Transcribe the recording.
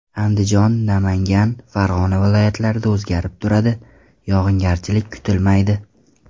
Andijon, Namangan, Farg‘ona viloyatlarida o‘zgarib turadi, yog‘ingarchilik kutilmaydi.